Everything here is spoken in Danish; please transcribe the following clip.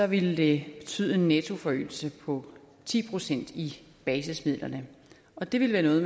ville det betyde en nettoforøgelse på ti procent i basismidlerne og det ville være noget